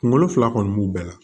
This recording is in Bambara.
Kunkolo fila kɔni b'u bɛɛ la